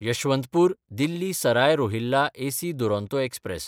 यशवंतपूर–दिल्ली Sarai Rohilla AC Duronto express